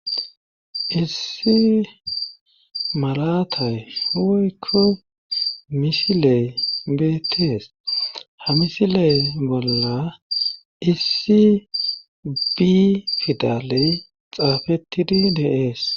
Issi malatay huwoykko misiley bettees ha misiley bolla issibi fidaley xaafetidi deees.